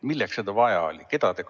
Milleks seda vaja oli?